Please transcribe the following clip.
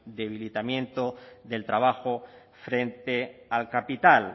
del debilitamiento del trabajo frente al capital